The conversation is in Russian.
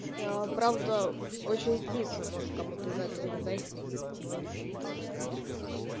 правда очень кислые может кому-то из-за этого не зайти но они вкусные прям